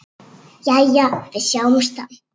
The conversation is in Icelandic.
Jæja, við sjáumst þá.